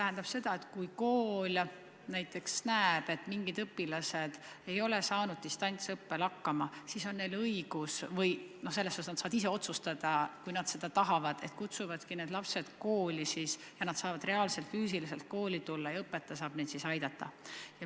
Pean silmas seda, et kui kool näiteks näeb, et teatud õpilased ei ole distantsõppel hakkama saanud, siis on tal õigus otsustada, kui ta seda tahab, et ta kutsub need lapsed kooli kohale, et õpetaja saaks neid aidata.